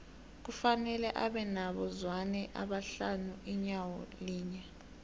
kufanele abe nabo zwane abahlanu inyawo linye